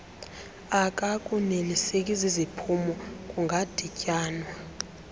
akakoneliseki ziziphumo kungadityanwa